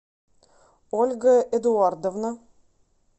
ольга эдуардовна